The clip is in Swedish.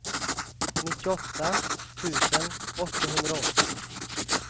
nittioåtta tusen åttahundraåttio